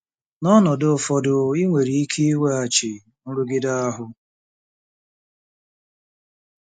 N'ọnọdụ ụfọdụ, ị nwere ike iweghachi nrụgide ahụ.